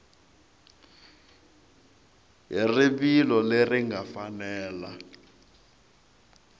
hi rivilo leri nga fanela